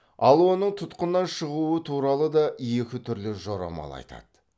ал оның тұтқыннан шығуы туралы да екі түрлі жорамал айтады